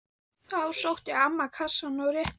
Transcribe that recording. Þá sótti amman kassa og rétti